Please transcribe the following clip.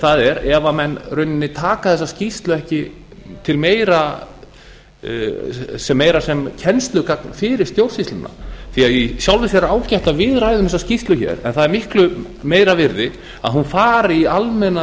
það er ef menn í rauninni taka þessa skýrslu ekki meira sem kennslugagn fyrir stjórnsýsluna því í sjálfu sér er ágætt að á ræðum þessa skýrslu hér en það er miklu meira virði að hún fari í almenna